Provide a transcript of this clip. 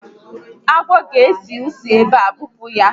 Agwọ a ga esi isi ebe a, bupu ya